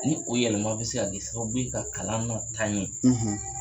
Ni o yɛlɛma be se ka kɛ sababu ye ka kalan nɔ taa ɲɛ